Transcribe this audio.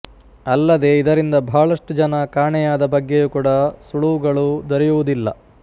ಅಲ್ಲದೆ ಇದರಿಂದ ಬಹಳಷ್ಟು ಜನ ಕಾಣೆಯಾದ ಬಗ್ಗೆಯೂ ಕೂಡ ಸುಳುವುಗಳು ದೊರೆಯುವುದಿಲ್ಲ